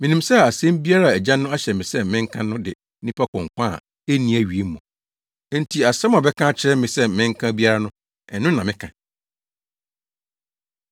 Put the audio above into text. Minim sɛ asɛm biara a Agya no ahyɛ me sɛ menka no de nnipa kɔ nkwa a enni awiei mu; enti asɛm a ɔbɛka akyerɛ me sɛ menka biara no, ɛno na meka!”